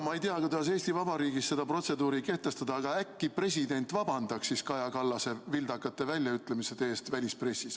Ma ei tea, kuidas Eesti Vabariigis seda protseduuri kehtestada, aga äkki president siis vabandaks Kaja Kallase vildakate väljaütlemiste eest välispressis.